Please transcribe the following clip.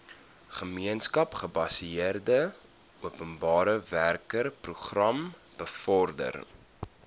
gemeenskapsgebaseerde openbarewerkeprogram bevorder